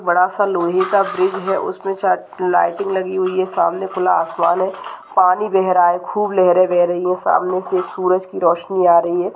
बड़ा सा लोहे का ब्रिज है उसमें शायद लाइटिंग लगी हुई है सामने खुला आसमान है पानी बह रहा है खूब लहरे बह रही हैं सामने से सूरज की रोशनी आ रही है।